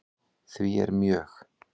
Því er mjög